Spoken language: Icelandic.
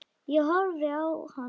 Ég horfði á hann hissa.